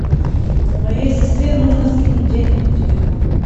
моей сестре нужно скинуть денег на телефон